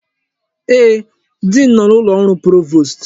Ee, diin nọ n'ụlọ ọrụ provost.